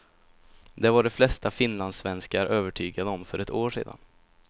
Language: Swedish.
Det var de flesta finlandssvenskar övertygade om för ett år sedan.